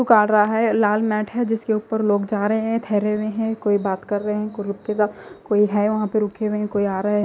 काट रा है लाल मेत है जिसके उपर लोग जा रहे है ठहरे हुए है कोई बात कर रहे है कोई रुक के जा कोई है वहा पे रुके हुए कोई आ रहा है।